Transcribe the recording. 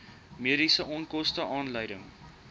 mediese onkoste aanleiding